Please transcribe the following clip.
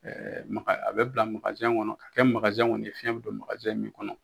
maga a bɛ bila kɔnɔ ka kɛ kɔni ye fiyɛn bɛ don min kɔnɔ.